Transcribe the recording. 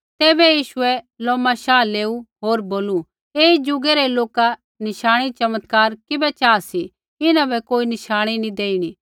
तैबै यीशुऐ लोमा शाह लेऊ होर बोलू ऐई ज़ुगै रै लोका नशाणी चमत्कार किबै चाहा सी इन्हां बै कोई नशाणी नी देइणा